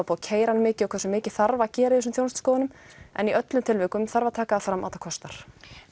búið að keyra hann mikið og hversu mikið þarf að gera í þessum þjónustuskoðunum en í öllum tilvikum þarf að taka fram að það kostar